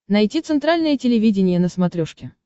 найти центральное телевидение на смотрешке